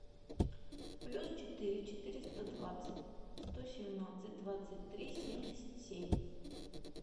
плюс четыре четыреста двадцать сто семнадцать двадцать три семьдесят семь